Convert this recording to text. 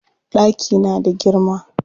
Ɗaki na da girma.